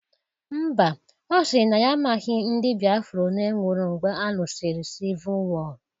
Mba, ọ sịrị na ya amaghọ ndị Biafra olee nwụrụ mgbe alụsịrị sivụl wọọ